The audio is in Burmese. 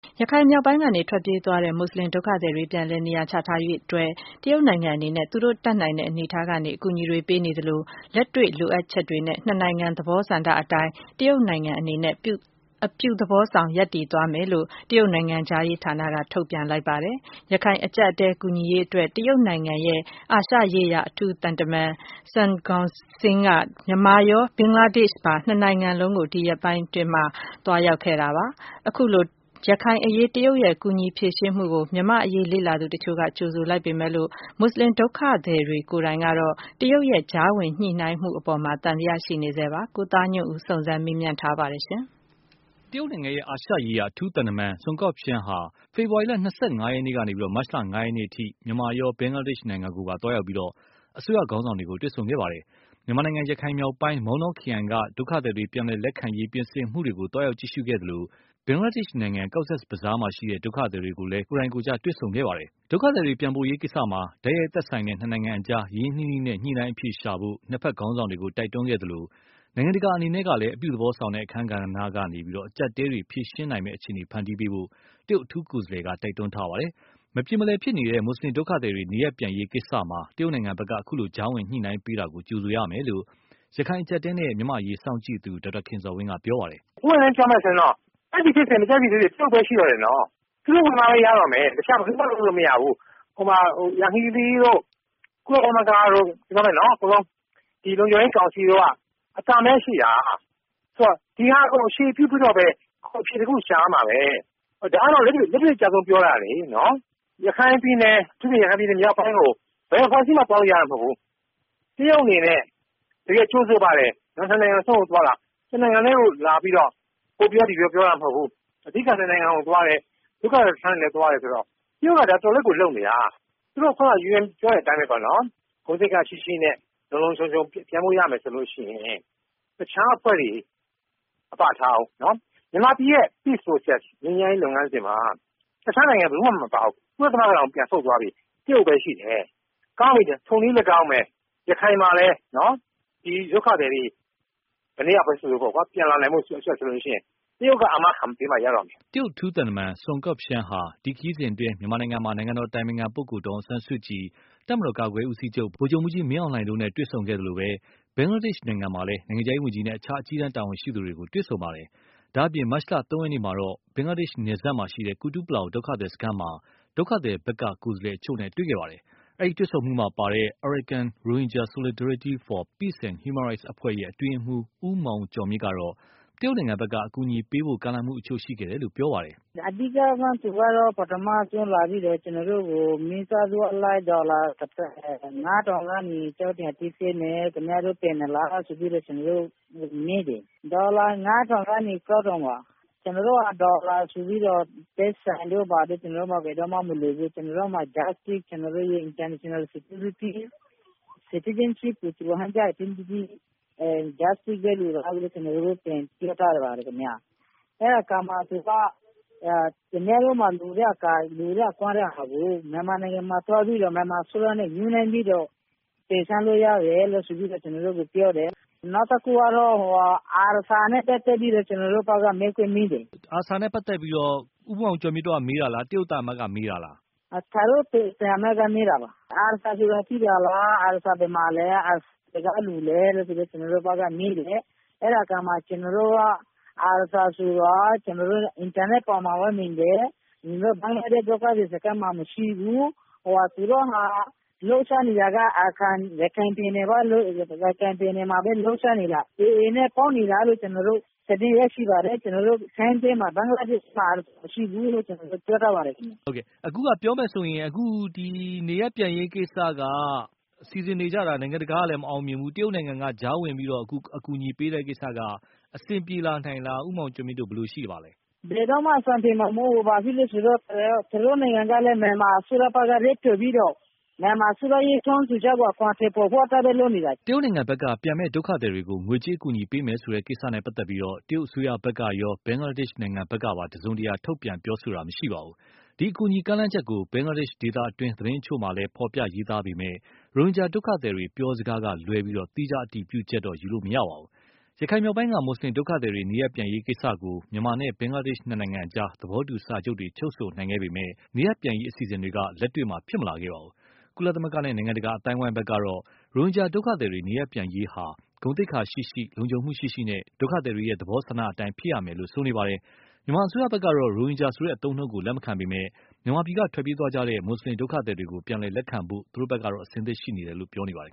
ရခိုင်မြောက်ပိုင်းကနေ ထွက်ပြေးသွားတဲ့ မွတ်ဆလင်ဒုက္ခသည်တွေ ပြန်လည်နေရာ ချထားရေးအတွက် တရုတ်နိုင်ငံအနေနဲ့ သူတို့ တတ်နိုင်တဲ့အနေအထားကနေ အကူအညီတွေပေးနေသလို၊ လက်တွေ့လိုအပ်ချက်တွေနဲ့ နှစ်နိုင်ငံသဘောဆန္ဒအတိုင်း တရုတ်နိုင်ငံ အနေနဲ့ အပြုသဘောဆောင်ရပ်တည်သွားမယ်လို့ တရုတ်နိုင်ငံခြားရေးဌာန က ထုတ်ပြန်လိုက် ပါတယ်။ ရခိုင်အကျပ်အတည်းကူညီဖြေရှင်းရေးအတွက် တရုတ်နိုင်ငံရဲ့ အာရှရေးရာ အထူးသံတမန် Sun Guoxiang ဟာ မြန်မာရော ဘင်္ဂလားဒေ့ရ်ှပါ နှစ်နိုင်ငံစလုံးကိုပါ ဒီရက်ပိုင်းထဲ သွားရောက်ခဲ့တာပါ။ အခုလို ရခိုင်အရေး တရုတ်ရဲ့ ကူညီဖြေရှင်းမှုကို မြန်မာ့အရေးလေ့လာသူအချို့က ကြိုဆိုလိုက်ပေမယ့်လို့ မွတ်ဆလင်ဒုက္ခသည်တွေကိုယ်တိုင်ကတော့ တရုတ်ရဲ့ ကြားဝင်ညှိနှိုင်းမှုအပေါ် သံသယတော့ ရှိနေဆဲပါ။ ကိုသားညွန့်ဦး စုံစမ်းမေးမြန်း ထားပါတယ်။ တရုတ်နိုင်ငံရဲ့ အာရှရေးရာအထူးသံတမန် Sun Guoxiang ဟာ ဖေဖော်ဝါရီလ ၂၅ရက်နေ့ကနေ မတ်လ ၅ ရက်နေ့အထိ မြန်မာရော ဘင်္ဂလားဒေ့ရ်ှကိုပါ သွားရောက်ပြီး အစိုးရခေါင်းဆောင်တွေကို တွေ့ဆုံခဲ့ပါတယ်။ မြန်မာနိုင်ငံ ရခိုင်မြောက်ပိုင်း မောင်တော ခရိုင်က ဒုက္ခသည်တွေပြန်လည်လက်ခံရေးပြင်ဆင်မှုတွေကို သွားရောက်ကြည့်ရှုသလို၊ ဘင်္ဂလားဒေ့ရ်ှနိုင်ငံ Cox’s Bazar မှာရှိတဲ့ ဒုက္ခသည် တွေကိုလည်း ကိုယ်တိုင် ကိုယ်ကျ တွေ့ဆုံခဲ့ပါတယ်။ ဒုက္ခသည်တွေပြန်ပို့ရေး ကိစ္စမှာ တိုက်ရိုက်သက်ဆိုင်တဲ့ နှစ်နိုင်ငံအကြား ရင်းရင်းနှီးနှီး ညှိနှိုင်းအဖြေရှာဖို့ နှစ်ဖက်ခေါင်းဆောင်တွေကို တိုက်တွန်းခဲ့သလို၊ နိုင်ငံတကာ အနေနဲ့ လည်း အပြုသဘောဆောင် အခန်းကဏ္ဍကနေ အကျပ်အတည်း ဖြေရှင်းနိုင်မယ့် အခြေအနေဖန်တီးဖို့ တရုတ်အထူးကိုယ်စားလှယ်က တိုက်တွန်း ထားပါတယ်။ မပြေမလည် ဖြစ်နေတဲ့ မွတ်ဆလင်ဒုက္ခသည်တွေ နေရပ်ပြန်ရေးကိစ္စမှာ တရုတ်နိုင်ငံက အခုလို ကြားဝင်ညှိနှိုင်းပေးတာကို ကြိုဆိုရမယ်လို့ ရခိုင်အကျပ်အတည်း နဲ့ မြန်မာ့အရေးစောင့်ကြည့်သူ ဒေါက်တာခင်ဇော်ဝင်းက ပြောပါတယ်။ "ပွင့်ပွင့်လင်းလင်းပြောမယ်ဆိုရင် ကြိုက်သည်ဖြစ်စေ မကြိုက်သည်ဖြစ်စေ ကြိုဆိုရမယ် အဲဒီဖြစ်စဉ်က လုပ်နိုင်တာ တရုတ်ပဲ ရှိတော့တယ်နော်။ သူတို့ဝင်လာမှပဲ ရတော့မယ် တခြားဘယ်သူမှ လုပ်လို့မရတော့ဘူး။ ယန်ဟီးလီတို့ ကုလသမဂ္ဂ တို့ ပြောမယ်ဆိုရင် အကုန်လုံး ဒီလုံခြုံရေးကောင်စီတို့က အသံပဲရှိတာ ။ ဒါကို အခြေပြုပြီးတော့ပဲ အဖြေတခု ရှာရတော့မှာပါပဲ ။ ဒါကတော့ လက်တွေ့အကျဆုံးပြောတာလေ။ အထူးသဖြင့် ရခိုင်ပြည်နယ်မြောက်ပိုင်း ကို ဘယ်အဖွဲ့အစည်းမှ သွားလို့ရတာ မဟုတ်ဘူး ။ တရုတ်အနေနဲ့ တကယ့်ကို ကြိုဆိုပါတယ်။ နှစ် နိုင်ငံစလုံးကို သွားတာ ။ တစ်နိုင်ငံထဲကို လာပြီးတော့ ဟိုပြောဒီပြော ပြောတာမဟုတ်ဘူး အဓိက နှစ် နိုင်ငံကို သွားတယ်။ ဒုက္ခသည်စခန်းတွေလည်း သွားတယ်ဆိုတော့ တရုတ်က တော်တော်လေး ဒါကို လုပ်နေတာ။ သူတို့ ခုနက UN ပြောတဲ့အတိုင်း ဂုဏ်သိက္ခာရှိရှိနဲ့ လုံလုံခြုံခြုံ ပြန်လို့ရမယ်ဆိုရင် တခြားအဖွဲ့တွေ ထားဦး မြန်မာပြည်ရဲ့ Peace Process ငြိမ်းချမ်းရေး လုပ်ငန်းစဉ်မှာ တခြားနိုင်ငံဘယ်သူမှ မပါဘူး။ ကုလသမဂ္ဂတောင်ပြန်ဆုတ်သွားပြီ။ တရုတ်ပဲရှိတော့တယ် ကောင်းပြီ ထိုနည်းလည်းကောင်း ရခိုင်ပြည်နယ်မှာလည်း ဒုက္ခသည်တွေ ဘယ်နှစ်ယောက်ပဲ ဆိုဆို ပြန်လာနိုင်ဖို့ ဆိုရင် တရုတ်ကပဲ အာမခံပေးမှ ရတော့မယ်။" တရုတ်အထူးသံတမန် Sun Guoxiang ဟာ ဒီခရီးစဉ်အတွင်း မြန်မာနိုင်ငံမှာ နိုင်ငံတော်အတိုင်ပင်ခံပုဂ္ဂိုလ်ဒေါ်အောင်ဆန်းစုကြည်၊ တပ်မတော်ကာကွယ်ရေးဦးစီးချုပ် ဗိုလ်ချုပ်မှူးကြီးမင်းအောင်လှိုင်တို့နဲ့ တွေ့ဆုံသလို၊ ဘင်္ဂလားဒေ့ရ်ှနိုင်ငံမှာလည်း နိုင်ငံခြားရေး ဝန်ကြီးနဲ့ အခြားအကြီးတန်းတာဝန်ရှိသူတွေကို တွေ့ဆုံပါတယ်။ ဒါ့အပြင် မတ်လ ၃ ရက်နေ့ကတော့ ဘင်္ဂလားဒေ့ရ်ှနယ်စပ် ကူတူးပလောင်ဒုက္ခသည် စခန်းမှာ ဒုက္ခသည်ဖက်က ကိုယ်စားလှယ်အချို့နဲ့ လည်း တွေ့ခဲ့ပါတယ်။ အဲဒီတွေ့ဆုံမှုမှာပါတဲ့ Arakan Rohingya Solidarity for Peace and Human Rights အဖွဲ့ အတွင်းရေးမှူး ဦးမောင်ကျော်မြင့်ကတော့ တရုတ်နိုင်ငံဖက်က အကူအညီပေးဖို့ ကမ်းလှမ်းမှု အချို့ရှိခဲ့တယ်လို့ ပြောပါတယ်။ "အဓိကတော့ သူတို့ကတော့ ပထမဦးဆုံးလာပြီးတော့ ကျနော်တို့ကို မိသားစုအလိုက် ဒေါ်လာ ပေးမယ် ကျနော်တို့ ပြန်နိုင်သလားလို့ ကျနော်တို့ကို မေးပါတယ်။ ဒေါ်လာ ၅၀၀၀ ကနေ ၆၀၀၀ ပါ ။ ကျနော်တို့က ဒေါ်လာ တို့ ပိုက်ဆံက ကျနော်တို့မှာ ဘယ်တော့မှ မလိုဘူး ကျနော်တို့မှာ Justice၊ International Security နဲ့ Citizenship တို့ပဲ လိုတာလို့ ကျနော်တို့ ပြောထားပါတယ်။ အဲဒီအခါ သူက ခင်ဗျားတို့မှာ လိုတာတွေကို မြန်မာနိုင်ငံမှာ သွားပြီးတော့ မြန်မာအစိုးရနဲ့ ညှိနှိုင်းပြီးတော့ တင်ပြလို့ရတယ်လို့ ကျနော်တို့ကိုပြောတယ်။ နောက်ခုကတော့ ARSA နဲ့ ပတ်သက်ပြီးတော့ ကျနော်တို့ဘက်က မေးခွန်းမေးတယ်။ ARSA နဲ့ ပတ်သက်ပြီးတော့ ဦးမောင်ကျော်မြင့်တို့က မေးတာလား ၊ တရုတ်သံအမတ်က မေးတာလား။ တရုတ်သံအမတ်က မေးတာပါ။ ARSA ဆိုတာ ရှိသလား၊ ARSA ဘယ်မှာလဲ ဘယ်ကလူတွေလဲ လို့ ကျနော်တို့ကို မေးတယ်။ အဲဒါအခါမှာ ကျနော်တို့က ARSA ဆိုတာ ကျနော်တို့ အင်တာနက်ပေါ်မှာပဲ မြင်တယ်။ ဘင်္ဂလားဒေ့ရှ် ဒုက္ခသည်စခန်းမှာ မရှိဘူး။ သူတို့ လှုပ်ရှားနေတာက ရခိုင်ပြည်နယ်မှာပဲ လှုပ်ရှားနေတယ် ။ AA နဲ့ ပေါင်းနေတာလို့ ကျနော်တို့သတင်းရရှိပါတယ်။ ဘင်္ဂလားဒေ့ရှ် ဒုက္ခသည်စခန်းမှာ မရှိဘူးလို့ ပြောထားပါတယ်။ အခုက ပြောမယ်ဆိုရင် အခုဒီ နေရပ်ပြန်ရေးကိစ္စက စီစဉ်နေတာ နိုင်ငံတကာကလည်း မအောင်မြင်ဘူး။ တရုတ်ကနေပြီးတော့ ကြားဝင်အကူအညီပေးတဲ့ ကိစ္စက အဆင်ပြေနိုင်လား၊ ဦးမောင်ကျော်မြင့်တို့ ဘယ်လိုသဘောရပါသလဲ။ ဘယ်တော့မှ အဆင်ပြေမှာ မဟုတ်ဘူး ဘာဖြစ်လို့လဲဆိုတော့ တရုတ်နိုင်ငံကလည်း မြန်မာအစိုးရနဲ့ တွေ့ပြီးတော့ မြန်မာအစိုးရတောင်းဆိုချက်ကို အကောင်အထည်ဖော်ဖို့ အတွက်ပဲ လုပ်နေတာ။ " တရုတ်နိုင်ငံဖက်က ပြန်မယ့်ဒုက္ခသည်တွေကို ငွေကြေး အကူအညီပေးမယ် ဆိုတဲ့ကိစ္စနဲ့ပတ်သက်လို့ တရုတ်အစိုးရဖက်ကရော ဘင်္ဂလားဒေ့ရ်ှဖက်ကပါ တစုံတရာ ထုတ်ပြန်ပြောဆိုတာမရှိပါဘူး။ ဒီအကူအညီကမ်းလှမ်းချက်ကို ဘင်္ဂလားဒေ့ရ်ှ ဒေသတွင်း သတင်းအချို့မှာလည်း ဖော်ပြရေးသားပေးမယ့်၊ ရိုဟင်ဂျာ ဒုက္ခသည်ေတွေ ပြောစကားကလွဲလို့ သီးခြားအတည်ပြုချက်တော့ ယူလို့မရပါဘူး။ ရခိုင်မြောက်ပိုင်းက မွတ်ဆလင်ဒုက္ခသည်တွေ နေရပ်ပြန်ရေးကိစ္စကို မြန်မာနဲ့ ဘင်္ဂလားဒေ့ရ်ှနှစ်နိုင်ငံအကြား သဘောတူစာချုပ်တွေ ချုပ်ဆိုနိုင်ခဲ့ပေမယ့်၊ နေရပ်ပြန်ရေးအစီအစဉ်တွေ လက်တွေ့မှာ ဖြစ်မလာခဲ့ပါဘူး။ ကုလသမဂ္ဂနဲ့ နိုင်ငံတကာအသိုင်းအဝိုင်းကတော့ ရိုဟင်ဂျာဒုက္ခသည်တွေ နေရပ်ပြန်ရေးဟာ ဂုဏ်သိက္ခာရှိရှိ လုံခြုံမှုရှိရှိနဲ့ ဒုက္ခသည်တွေ သဘောဆန္ဒအတိုင်းဖြစ်ရမယ်လို့ ဆိုနေပါတယ်။ မြန်မာအစိုးရဖက်ကတော့ ရိုဟင်ဂျာဆိုတဲ့အသုံးအနှုန်းကို လက်မခံပေမယ့်၊ မြန်မာပြည်ကထွက်ပြေးသွားတဲ့ မွတ်ဆလင်ဒုက္ခသည်တွေကို ပြန်လည်လက်ခံဖို့ သူတို့ဖက်က အဆင်သင့်ရှိနေတယ်လို့ ပြောနေပါတယ်